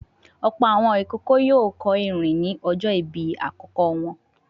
Ọ̀pọ̀ àwọn ìkókó yóò kọ́ ìrìn ní ọjọ́ ìbí àkókò wọn.